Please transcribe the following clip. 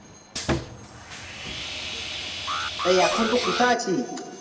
সেই এখন তুই কোথায় আছিস